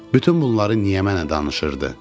Bütün bunları niyə mənə danışırdı?